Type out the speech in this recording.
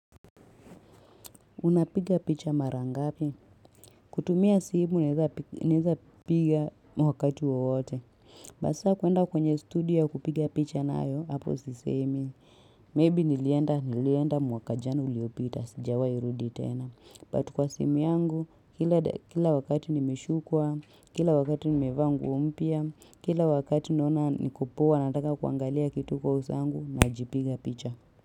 Unapiga picha marangapi kutumia simu naeza piga wakati wowote sasa kuenda kwenye studio kupiga picha nayo hapo sisemi maybe nilienda nilienda mwaka jana uliopita sijawai rudi tena but kwa simu yangu kila wakati nimeshukwa kila wakati nimevaa mpya kila wakati naona nikopoa nataka kuangalia kitu kwa uso wangu najipiga picha.